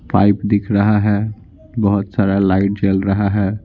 Pipe दिख रहा है बहुत सारा लाइट जल रहा है।